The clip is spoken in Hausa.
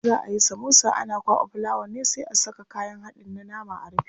Idan za ayi samosa ana kwaɓa fulawa ne sai a saka kayan haɗin na nama a rufe.